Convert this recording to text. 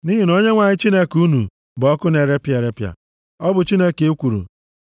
Nʼihi na Onyenwe anyị Chineke unu bụ ọkụ na-erepịa erepịa. Ọ bụ Chineke ekworo.